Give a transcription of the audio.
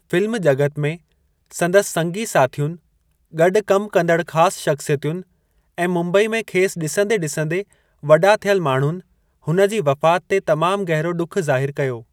Film जॻत में संदसि संगी साथियुनि, गॾु कमु कंदड़ ख़ास शख़्सियतुनि ऐं मुंबई में खेसि ॾिसंदे-ॾिसंदे वॾा थियल माण्हुनि हुन जी वफ़ात ते तमामु गहिरो ॾुखु ज़ाहिरु कयो।